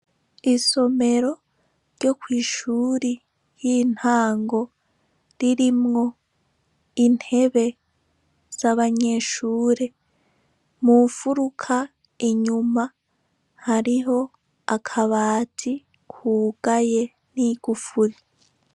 Isomero ryo kw' ishuri y' intango ririmwo intebe z' abanyeshure , mu nfuruka inyuma ,hariho akabati kugaye n'igufuri .